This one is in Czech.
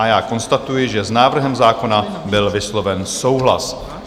A já konstatuji, že s návrhem zákona byl vysloven souhlas.